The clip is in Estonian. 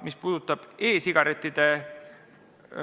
Mis puudutab e-sigarettide